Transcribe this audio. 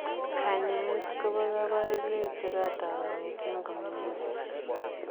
Kanyaet kopee kabarunoik chekatook kongetee komining chii?